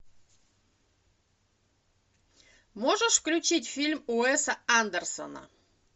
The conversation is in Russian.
можешь включить фильм уэса андерсона